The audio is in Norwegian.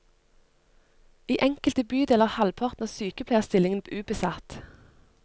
I enkelte bydeler er halvparten av sykepleierstillingene ubesatt.